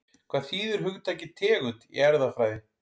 Hvað þýðir hugtakið tegund í erfðafræði?